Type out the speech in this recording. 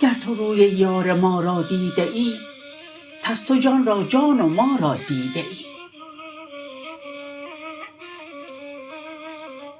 گر تو روی یار ما را دیده ای پس تو جان را جان و ما را دیده ای